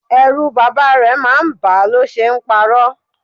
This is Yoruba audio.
Ẹrù bàbá rẹ̀ máa ń ba a lo ṣe ń paro.